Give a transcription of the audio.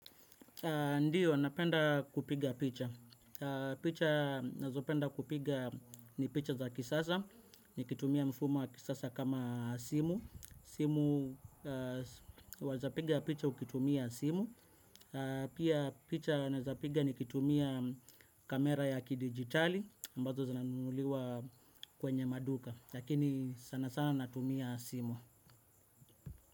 Ndiyo, napenda kupiga picha. Picha, nazopenda kupiga ni picha za kisasa, nikitumia mfumo wa kisasa kama simu. Simu, waeza piga picha ukitumia simu. Pia picha naeza piga nikitumia kamera ya kidigitali, ambazo zinanunuliwa kwenye maduka. Lakini sana sana natumia simu.